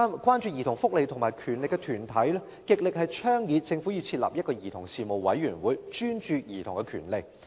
關注兒童福利及權利的團體極力倡議政府設立一個兒童事務委員會，專注兒童權利。